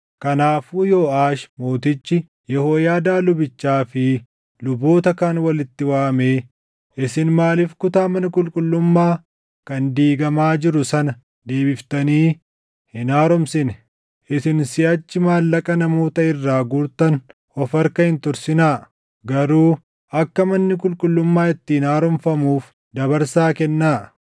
Kanaafuu Yooʼaash mootichi Yehooyaadaa lubichaa fi luboota kaan walitti waamee, “Isin maaliif kutaa mana qulqullummaa kan diigamaa jiru sana deebiftanii hin haaromsine? Isin siʼachi maallaqa namoota irraa guurtan of harka hin tursinaa; garuu akka manni qulqullummaa ittiin haaromfamuuf dabarsaa kennaa.”